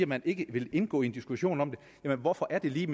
man ikke vil indgå i en diskussion om det men hvorfor er det lige